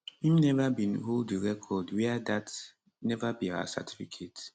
im neva bin hold di record wia dat neva be our certificate